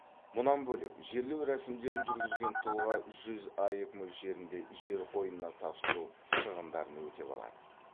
мұнан бөлек жерлеу рәсімдерін жүргізген тұлға жүз аек мөлшерінде жер қойнына тапсыру шығындарын өтеп алады